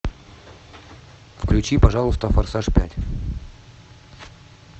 включи пожалуйста форсаж пять